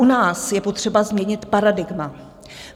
U nás je potřeba změnit paradigma.